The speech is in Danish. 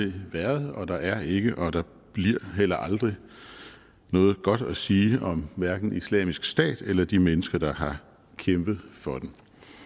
været og der er ikke og der bliver heller aldrig noget godt at sige om hverken islamisk stat eller de mennesker der har kæmpet for den